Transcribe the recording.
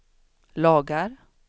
lagar